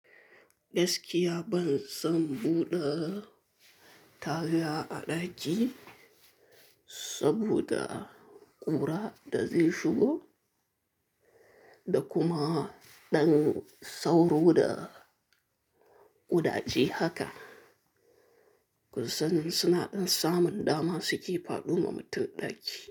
Gaskiya ban son buɗe taga a ɗaki saboda ƙura da zai shigo da kuma ɗan sauro da ƙudaje haka. Kun san suna ɗan samun dama suke faɗoma mutum ɗaki.